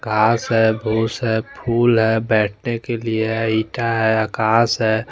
घास है फुस है फूल है बैठ ने के लिए है ईटा है आकाश है--